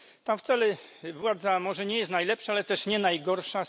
Tam władza może nie jest najlepsza, ale też nie najgorsza.